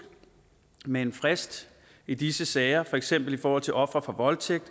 med en frist i disse sager for eksempel i forhold til ofre for voldtægt